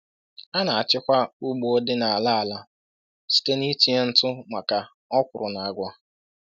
A na-achịkwa ugbo dị n’ala ala site n’itinye ntụ maka okwuru na agwa.”